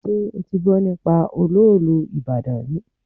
Ṣé o ti gbọ́ nípa olóòlù ti ìbàdàn rí?